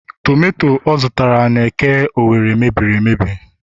tomato ọ zụtara n'eke Owerri mebiri